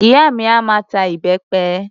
Ìyá mi a máa ta ìbẹpẹ